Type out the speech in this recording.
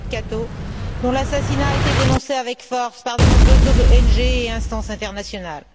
David Kato, dont l'assassinat a été dénoncé avec force par de nombreuses ONG et instances internationales.